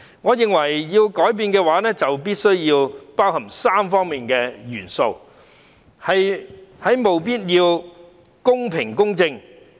我認為，改變必須包含3方面的元素，務必要公平和公正。